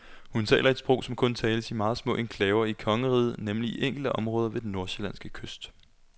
Hun taler et sprog, som kun tales i meget små enklaver i kongeriget, nemlig i enkelte områder ved den nordsjællandske kyst.